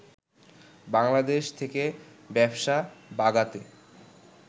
বাংলাদেশ থেকে ব্যবসা বাগাতে